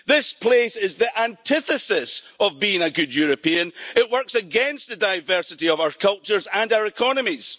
This place is the antithesis of being a good European it works against the diversity of our cultures and our economies.